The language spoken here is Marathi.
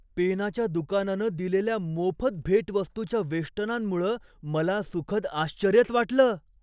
पेनाच्या दुकानानं दिलेल्या मोफत भेटवस्तूच्या वेष्टनांमुळं मला सुखद आश्चर्यच वाटलं.